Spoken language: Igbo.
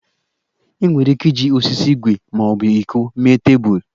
Enwere ike iji osisi, igwe ma ọ bụ iko mee tebụl.